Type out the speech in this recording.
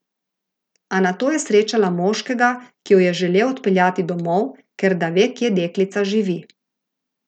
A nato je srečala moškega, ki jo je želel odpeljati domov, ker da ve kje deklica živi.